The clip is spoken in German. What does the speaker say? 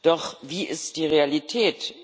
Doch wie ist die Realität?